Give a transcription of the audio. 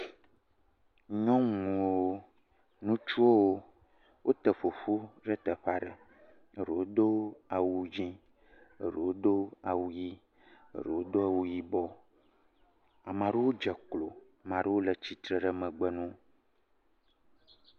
Nyɔnuwo, ŋutsuwo, wote ƒoƒu le teƒe aɖe, eɖewo do awu dzɛ, eɖewo do awu ʋi, eɖewo do awu yibɔ, ame aɖewo dze klo, ame aɖewo le tsitre ɖe megbe nawo.